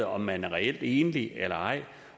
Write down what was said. om man er reelt enlig eller ej